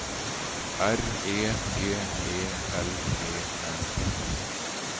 R E G E L E N